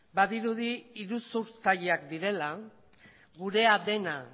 badirudi iruzurtzaileak direla gurea dena